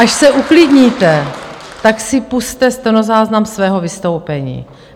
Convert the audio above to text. Až se uklidníte, tak si pusťte stenozáznam svého vystoupení.